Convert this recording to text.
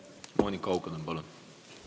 Monika Haukanõmm, palun!